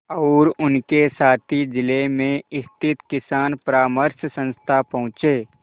और उनके साथी जिले में स्थित किसान परामर्श संस्था पहुँचे